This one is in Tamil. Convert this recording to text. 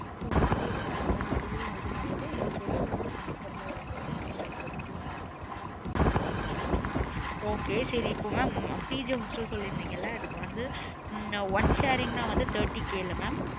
So வாங்கிட்டு நா எல்லா detail இது பன்னிட்டு எது எங்களுக்கு comfortable இருக்கு so நாங்க அது படி நாங்க choose பண்ணிக்குறோம் mam okay சரி இப்போ mam PG house சொல்லிருந்திங்கள அதுக்கு வந்த உம் one sharing னா வந்து thirty K ல mam